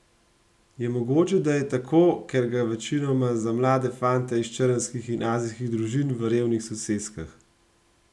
Je mogoče, da je tako, ker gre večinoma za mlade fante iz črnskih in azijskih družin v revnih soseskah?